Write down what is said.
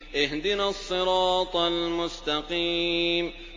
اهْدِنَا الصِّرَاطَ الْمُسْتَقِيمَ